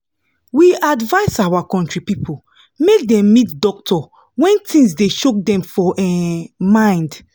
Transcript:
we advise our country people make dem meet doctor when thins dey choke dem for um mind